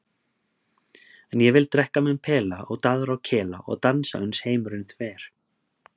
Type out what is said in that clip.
En ég vil drekka minn pela og daðra og kela og dansa uns heimurinn þver.